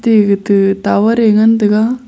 e etu tower e ngan tai ga.